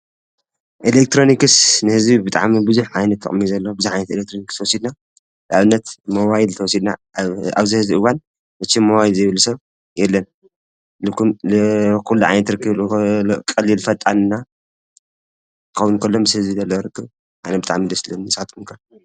ኤለክጥሮንክስ ንሕዚ ብጥዓሚ ብዙኅ ዓይነ ተቕሚ ዘለዋ ብዝኃንት ኤለክትሮንክዝተወሲድና ልኣብነት መዋይል ተሲድና ኣውዘሕዝእዋን እችም መዋይል ዘይብሉ ሰብ የለን ዂሉዓይንትርክ ቐሊል ፈጣና ኸውንከሎም ሴዝለለወርግ ኣነ ብጥዓሚ ል ስለ ንሳትኩምከ።